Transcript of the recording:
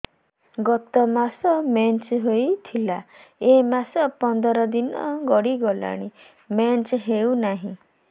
ଗତ ମାସ ମେନ୍ସ ହେଇଥିଲା ଏ ମାସ ପନ୍ଦର ଦିନ ଗଡିଗଲାଣି ମେନ୍ସ ହେଉନାହିଁ